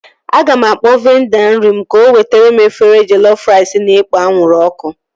Aga m akpọọ vendọ nri m ka o wetere m efere jellof rice na-ekpo anwụrụ ọkụ